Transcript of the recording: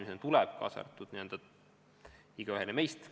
See peaks olema kättesaadav igaühele meist.